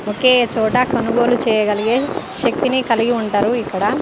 ఒకే చోట కొనుగోలు చేయగలిగే శక్తిని కలిగి ఉంటారు ఇక్కడ.